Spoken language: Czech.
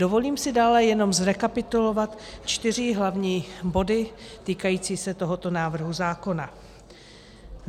Dovolím si dále jenom zrekapitulovat čtyři hlavní body týkající se tohoto návrhu zákona.